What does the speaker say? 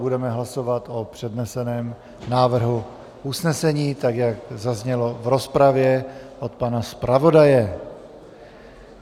Budeme hlasovat o předneseném návrhu usnesení, tak jak zaznělo v rozpravě od pana zpravodaje.